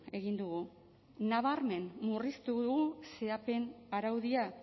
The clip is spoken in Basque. egin dugu nabarmen murriztu dugu zehapen araudia